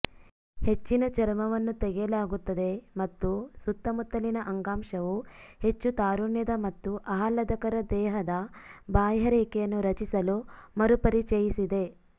ಹೆಚ್ಚಿನ ಚರ್ಮವನ್ನು ತೆಗೆಯಲಾಗುತ್ತದೆ ಮತ್ತು ಸುತ್ತಮುತ್ತಲಿನ ಅಂಗಾಂಶವು ಹೆಚ್ಚು ತಾರುಣ್ಯದ ಮತ್ತು ಆಹ್ಲಾದಕರ ದೇಹದ ಬಾಹ್ಯರೇಖೆಯನ್ನು ರಚಿಸಲು ಮರುಪರಿಚಯಿಸಿದೆ